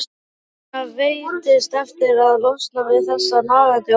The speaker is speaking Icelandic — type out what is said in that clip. Svenna veitist erfitt að losna við þessa nagandi óvissu.